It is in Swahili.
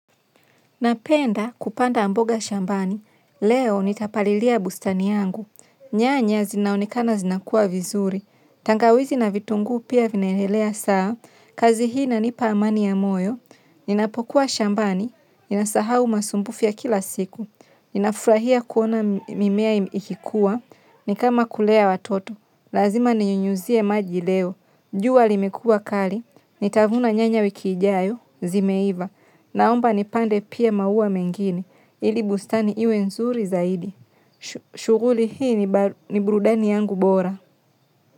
Napenda kupanda mboga shambani, leo nitapalilia bustani yangu, nyanya zinaonekana zinakua vizuri, tangawizi na vitunguu pia vinaendelea sawa, kazi hii inanipa amani ya moyo, ninapokuwa shambani, ninasahau masumbufu ya kila siku, ninafurahia kuona mimea ikikuwa, nikama kulea watoto, lazima ninyunyuzie maji leo, jua limekua kali, nitavuna nyanya wiki ijayo, zimeiva, naomba nipande pia maua mengine, ili bustani iwe nzuri zaidi. Shughuli hii ni burudani yangu bora.